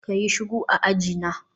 kayi shiru a ajina